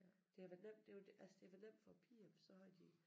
Det havde været nemt det jo altså det havde været nemt for æ piger for så havde de